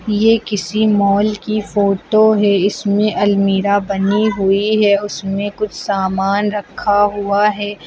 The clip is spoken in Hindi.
ये किसी मॉल की फोटो है इसमें अलमीरा बनी हुई है उसमें कुछ सामान रखा हुआ है।